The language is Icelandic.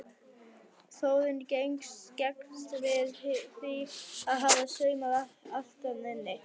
Þórunn gengst við því að hafa saumað allt þarna inni.